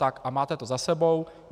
Tak, a máte to za sebou.